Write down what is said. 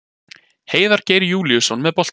Heiðar Geir Júlíusson með boltann.